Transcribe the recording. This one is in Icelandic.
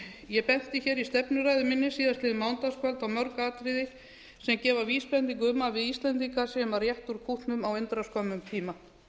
ég benti hér í stefnuræðu minni síðastliðið mánudagskvöld á mörg atriði sem gefa vísbendingu um að við íslendingar séum að rétta úr kútnum á undra skömmum tíma